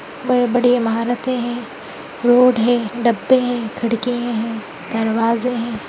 बहुत बड़ी इमारतें हैं रोड है गत्ते हैं खिड़कियां हैं दरवाजे हैं।